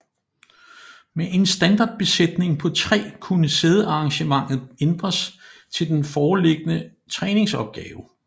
Med en standardbesætning på tre kunne sædearrangementet ændres til den foreliggende træningsopgave